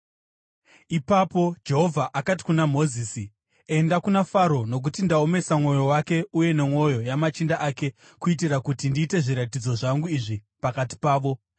Ipapo Jehovha akati kuna Mozisi, “Enda kuna Faro nokuti ndaomesa mwoyo wake uye nemwoyo yamachinda ake kuitira kuti ndiite zviratidzo zvangu izvi pakati pavo,